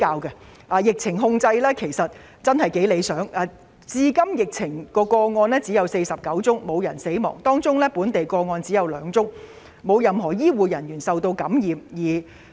澳門的疫情控制得頗為理想，至今確診個案只有49宗，並無死亡個案，本地個案亦只有兩宗，沒有任何醫護人員受到感染。